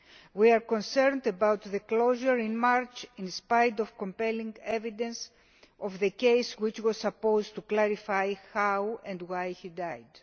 We are concerned about the closure in March, in spite of compelling evidence, of the case which was supposed to clarify how and why he died.